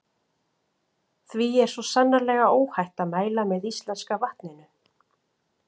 Því er svo sannarlega óhætt að mæla með íslenska vatninu.